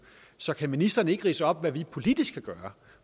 så kan ministeren ikke ridse op hvad vi politisk kan gøre